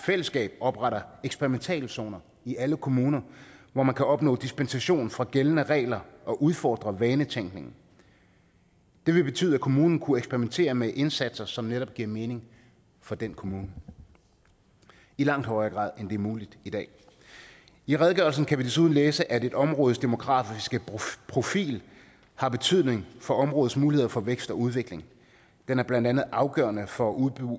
fællesskab opretter eksperimentale zone i alle kommuner hvor man kan opnå dispensation fra gældende regler og udfordre vanetænkning det vil betyde at kommunen kunne eksperimentere med indsatser som netop giver mening for den kommune i langt højere grad end er muligt i dag i redegørelsen kan vi desuden læse at et områdes demografiske profil har betydning for områdets muligheder for vækst og udvikling den er blandt andet afgørende for